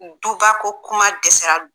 Duba ko kuma dɛsɛra bi!